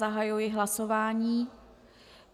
Zahajuji hlasování.